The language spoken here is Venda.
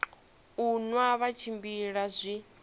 u nwa vha tshimbila zwi